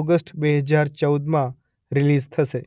August બે હજાર ચૌદમાં રિલીઝ થશે.